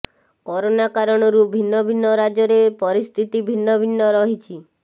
corona କାରଣରୁ ଭିନ୍ନ ଭିନ୍ନ ରାଜ୍ୟରେ ପରିସ୍ଥିତି ଭିନ୍ନ ଭିନ୍ନ ରହିଛି